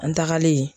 An tagalen